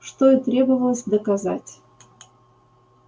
что и требовалось доказать